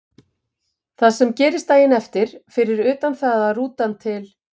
Það sem gerist daginn eftir, fyrir utan það að rútan til